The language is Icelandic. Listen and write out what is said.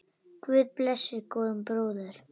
Guð blessi góðan bróður!